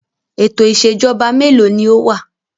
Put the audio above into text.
Ètò ìṣèjọba mélòó ni ó wà?